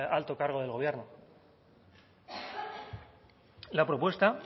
alto cargo del gobierno la propuesta